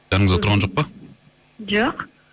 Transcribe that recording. жаныңызда тұрған жоқ па жоқ